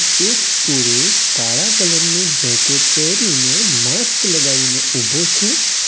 એક પુરુષ કાળા કલર નું જેકેટ પહેરીને માસ્ક લગાવીને ઉભો છે.